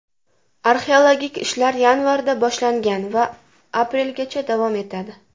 Arxeologik ishlar yanvarda boshlangan va aprelgacha davom etadi.